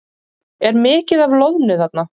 Er mikið af loðnu þarna?